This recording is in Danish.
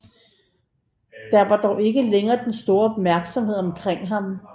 Der var dog ikke længere den store opmærksomhed omkring ham